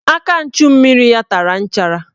Aka nchummiri ya tara nchara